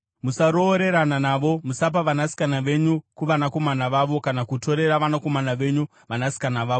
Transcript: Musaroorerana navo. Musapa vanasikana venyu kuvanakomana vavo kana kutorera vanakomana venyu vanasikana vavo,